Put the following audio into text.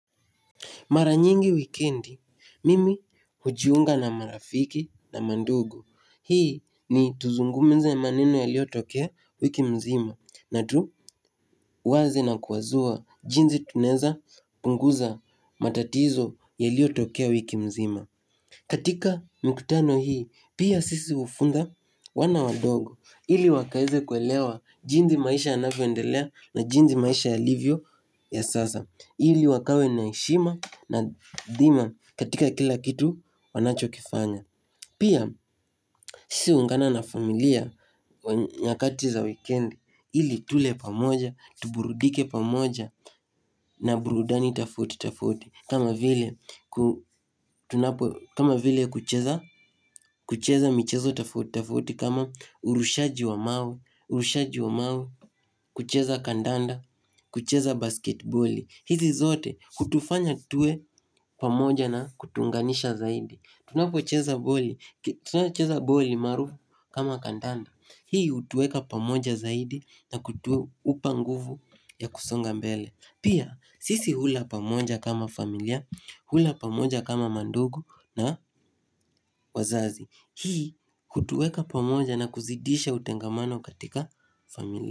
Mara nyingi wikendi, mimi hujiunga na marafiki na mandugu. Hii ni tuzungumze maneno yaliyotokea wiki mzima. Na tuwaze na kuwazua jinsi tunaweza punguza matatizo yaliotokea wiki mzima. Katika mkutano hii, pia sisi hufunza wana wadogo. Ili wakaweze kuelewa jinsi maisha yanavyoendelea na jinsi maisha yalivyo ya sasa. Ili wakawe na heshima na dhima katika kila kitu wanachokifanya. Pia sisi huungana na familia wa nyakati za weekend. Ili tule pamoja, tuburudike pamoja na burudani tofauti tofauti, kama vile kama vile kucheza michezo tofuti tafauti kama urushaji wa mawe, urushaji wa mawe, kucheza kandanda, kucheza basketboli. Hizi zote hutufanya tuwe pamoja na kutuunganisha zaidi. Tunapocheza boli cheza boli maarufu kama kandanda. Hii hutuweka pamoja zaidi na kutupa nguvu ya kusonga mbele. Pia sisi hula pamoja kama familia, hula pamoja kama mandugu na wazazi Hii hutuweka pamoja na kuzidisha utengamano katika familia.